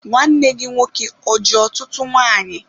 Nwanne gị nwoke o ji ọtụtụ nwanyị?